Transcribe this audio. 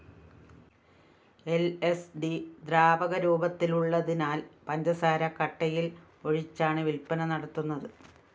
ൽ സ്‌ ഡി ദ്രാവക രൂപത്തിലുള്ളതിനാല്‍ പഞ്ചസാര കട്ടയില്‍ ഒഴിച്ചാണ് വില്‍പ്പന നടത്തുന്നത്